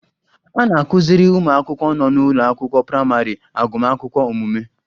A na-akụziri ụmụ akwụkwọ nọ n'ụlọ akwụkwọ praịmarị agụmakwụkwọ omume